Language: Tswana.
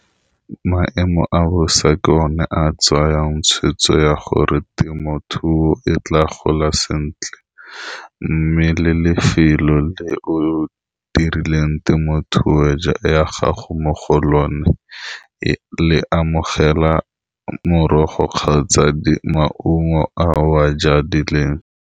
Maemo a bosa ke one a tsayang tshwetso ya gore temothuo e tla gola sentle, mme le lefelo le o dirileng temothuo ya gago mo go lone le amogela morogo kgaotsa maungo a o a jadileng.